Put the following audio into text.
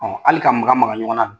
Ɔn hali ka maka maka ɲɔgɔn na